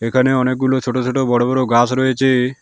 এখানে অনেকগুলো ছোট ছোট বড় বড় গাস রয়েছে।